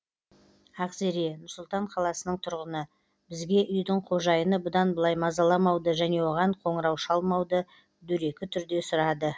ақзере нұр сұлтан қаласының тұрғыны бізге үйдің қожайыны бұдан былай мазаламауды және оған қоңырау шалмауды дөрекі түрде сұрады